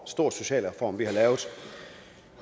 stor socialreform vi har lavet